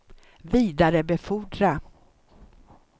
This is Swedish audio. vidarebefordra